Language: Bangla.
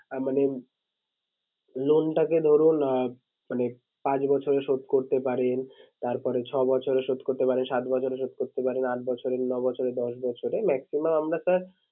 আঁ মানে loan টাকে ধরুন আঁ মানে পাঁচ বছরে শোধ করতে পারেন। তারপরে ছ'বছরে শোধ করতে পারেন সাত বছরে শোধ করতে পারেন, আট বছরে, ন'বছরে, দশ বছরে maximum আমরা sir